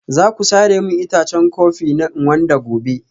Za ku sare min itacen kofi na Nganda gobe?